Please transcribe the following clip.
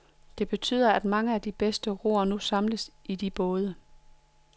Det betyder, at mange af de bedste roere nu samles i de både.